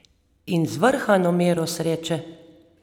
In zvrhano mero sreče!